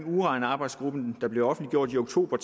uranarbejdsgruppen der blev offentliggjort i oktober